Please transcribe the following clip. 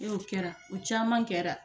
E o kɛra o caman kɛra.